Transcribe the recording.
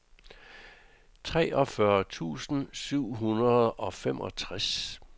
treogfyrre tusind syv hundrede og femogtres